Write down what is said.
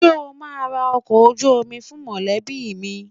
Ṣé o máa ra ọkọ̀ ojú omi fún mọ̀lẹ́bí mi?